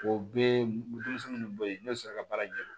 O bɛɛ ye denmisɛnnin minnu bɔ yen ne bɛ sɔrɔ ka baara ɲɛdɔn